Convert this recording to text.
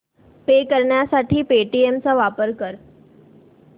पे करण्यासाठी पेटीएम चा वापर कर